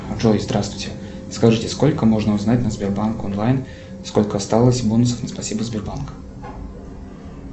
джой здравствуйте скажите сколько можно узнать на сбербанк онлайн сколько осталось бонусов на спасибо сбербанк